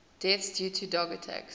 deaths due to dog attacks